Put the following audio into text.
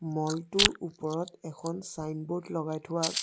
mall টোৰ ওপৰত এখন ছাইনবোৰ্ড লগাই থোৱা --